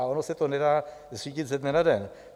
A ono se to nedá zřídit ze dne na den.